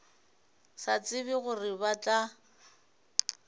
sa tsebe gore ba tla